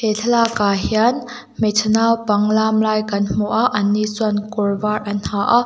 he thlalak ah hian hmeichhe naupang lam lai kan hmu a an ni chuan kawr var an ha aaa.